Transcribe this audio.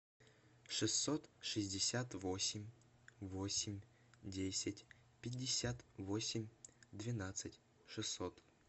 шестьсот шестьдесят восемь восемь десять пятьдесят восемь двенадцать шестьсот